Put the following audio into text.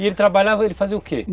E ele trabalhava, ele fazia o que?